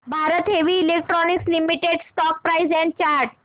Bharat heavy electricals limited stock price and chart